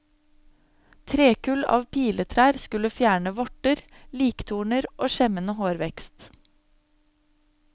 Trekull av piletrær skulle fjerne vorter, liktorner og skjemmende hårvekst.